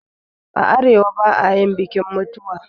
A arewa ba'ayin bikin mutuwa